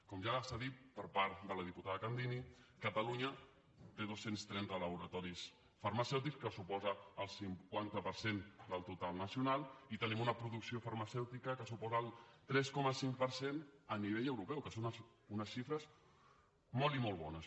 com ja s’ha dit per part de la diputada candini catalunya té dos cents i trenta laboratoris farmacèutics que suposa el cinquanta per cent del total nacional i tenim una producció farmacèutica que suposa el tres coma cinc per cent a nivell europeu que són unes xifres molt i molt bones